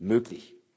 möglich.